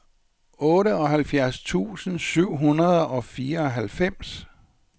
otteoghalvfems tusind syv hundrede og fireoghalvfems